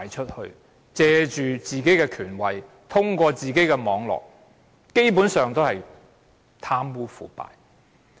官員藉着自己的權位，通過自己的網絡，基本上都是貪污腐敗。